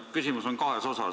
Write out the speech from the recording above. Mu küsimusel on kaks osa.